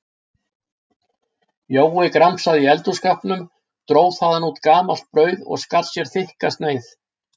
Jói gramsaði í eldhússkápnum, dró þaðan út gamalt brauð og skar sér þykka sneið.